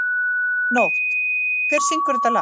Nótt, hver syngur þetta lag?